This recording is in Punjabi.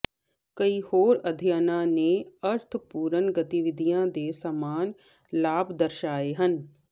ਕਈ ਹੋਰ ਅਧਿਐਨਾਂ ਨੇ ਅਰਥਪੂਰਨ ਗਤੀਵਿਧੀਆਂ ਦੇ ਸਮਾਨ ਲਾਭ ਦਰਸਾਏ ਹਨ